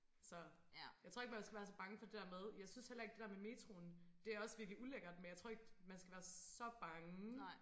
Så jeg tror ikke man skal være så bange for det der med jeg synes heller ikke det der med metroen det også virkelig ulækkert men jeg tror ikke man skal være så bange